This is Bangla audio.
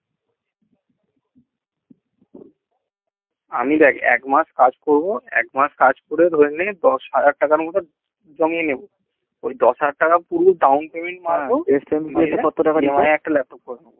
আমি দেখ এক মাস কাজ করবো এক মাস কাজ করে ধরে নে দশ হাজার টাকা মতো জমিয়ে নেবো দশ হাজার টাকা পুরো down payment মারবো